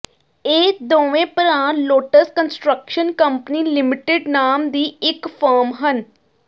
ਇਹ ਦੋਵੇਂ ਭਰਾ ਲੋਟਸ ਕੰਸਟ੍ਰਕਸ਼ਨ ਕੰਪਨੀ ਲਿਮਟਿਡ ਨਾਮ ਦੀ ਇੱਕ ਫਰਮ ਹਨ